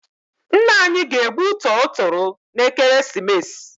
Ńnà anyị ga-egbu tọrọ toro n' ekeresimesi.